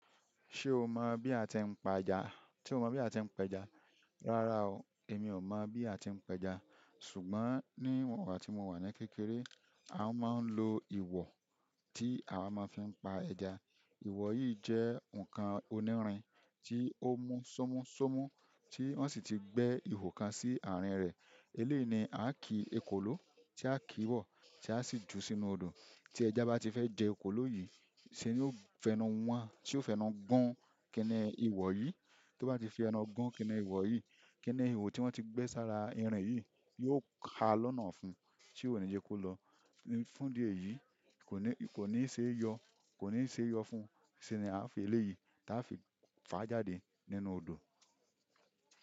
Ṣé o mọ̀ bí a ti ń pa ẹja? Rárá o, èmi ò mọ̀ bí a ti ń pa ẹja. Ṣùgbọ́n ní ọ̀wọ̀ tí mo wà ní kékeré, a máa ń lo ìwọ̀ tí a máa fi ń pa ẹja. Iwọ̀ yìí jẹ́ ǹkan onírin tí ó mú ṣómúṣómú tí wọ́n sì ti gbẹ́ ihò kan sí àárín rẹ̀. Eléyi, nia ki ekoló, tí a ki bọ̀ tí a sì ju sínú odò. Tí ẹja bá ti fẹ́ jẹ ẹkolóyì, ṣe ni ó fẹ́nu wọ́n, ti ó fẹ́nu gun kínní ìwọ̀ yìí. Tó bá ti fẹ́nu gun kínní ìwọ̀ yìí, kínní ihò tí wọ́n ti gbẹ́ sára irin yìí yóò ha lọ́nà fún un. Ti oni, je kó lọ. Fundi eyìí, kò ní ṣe é yọ, kò ní ṣe é yọ fún un. Sí ní a fi eléyìí tí a fi fà á jáde nínú odò.